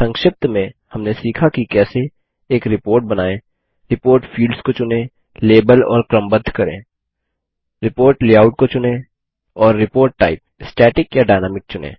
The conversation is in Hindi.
संक्षिप्त में हमने सीखा की कैसे एक रिपोर्ट बनाएँ रिपोर्ट फील्ड्स को चुनें लेबल और क्रमबद्ध करें रिपोर्ट लेआउट को चुनें और रिपोर्ट टाइप स्टैटिक या डायनामिक चुनें